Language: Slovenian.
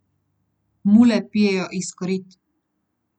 Mule pijejo iz korit.